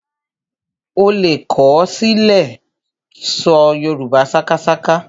Ó lè kọ ó sì lè ṣọ Yorùbá sákásáká